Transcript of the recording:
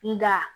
Nga